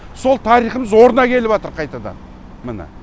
сол тарихымыз орнына келіватыр қайтадан міне